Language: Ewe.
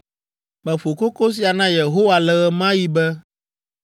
Meƒo koko sia na Yehowa le ɣe ma ɣi be,